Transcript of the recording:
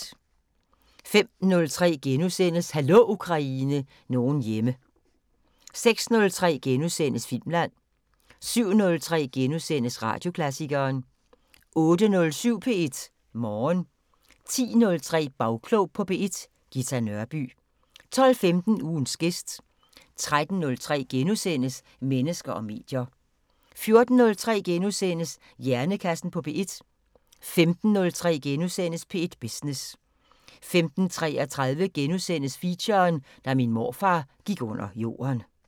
05:03: Hallo Ukraine – nogen hjemme * 06:03: Filmland * 07:03: Radioklassikeren * 08:07: P1 Morgen 10:03: Bagklog på P1: Ghita Nørby 12:15: Ugens gæst 13:03: Mennesker og medier * 14:03: Hjernekassen på P1 * 15:03: P1 Business * 15:33: Feature: Da min morfar gik under jorden *